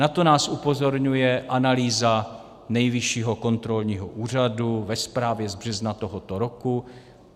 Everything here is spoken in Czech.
Na to nás upozorňuje analýza Nejvyššího kontrolního úřadu ve zprávě z března tohoto roku.